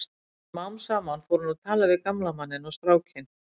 Smám saman fór hún að tala við gamla manninn og strákinn.